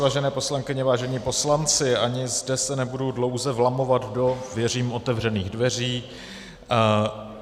Vážené poslankyně, vážení poslanci, ani zde se nebudu dlouze vlamovat do, věřím, otevřených dveří.